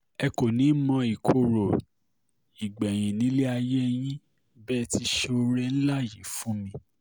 ẹ kò ní í mọ ìkorò gbẹ̀yìn nílé ayé yín bẹ́ẹ̀ ti ṣe sóore ńlá yìí yìí fún mi